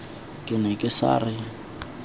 ke ne ke sa re